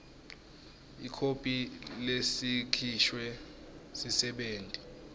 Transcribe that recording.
ikhophi lesikhishwe sisebenti